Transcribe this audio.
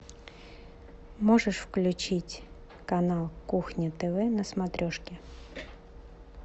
можешь включить канал кухня тв на смотрешке